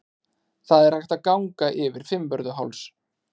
Það er hægt að ganga yfir Fimmvörðuháls.